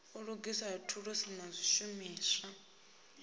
u lugisa thulusi na zwishumuswa